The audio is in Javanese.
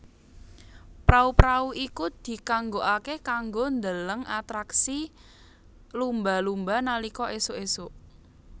Prau prau iku dikanggokake kanggo ndheleng atraksi lumba lumba nalika esuk esuk